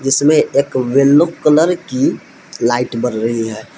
इसमे एक yellow colour की लाइट बल रही है।